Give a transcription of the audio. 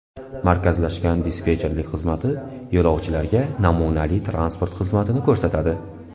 Markazlashgan dispetcherlik xizmati yo‘lovchilarga namunali transport xizmatini ko‘rsatadi.